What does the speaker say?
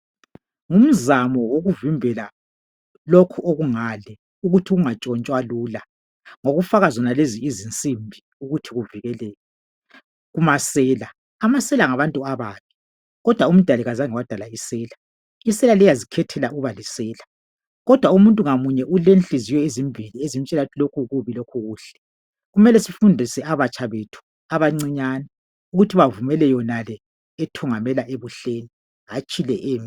Ngumzamo wokuvimbela lokhu okungale ukuthi kungantshontshwa lula, ngokufaka zonalezi izinsimbi , ukuthi kuvikeleke kumasela. Amasela ngabantu ababi, kodwa umdali kazange wadala isela, isela liyazikhethela ukuba lisela, kodwa umuntu ngamunye ulenhliziyo ezimbili, ezimtshela ukuthi lokhu kubi lokhu kuhle, kumele sifundise abatsha bethu, abancinyane, ukuthi bavumele yonale ethungamela ebuhleni, hatshi le embi.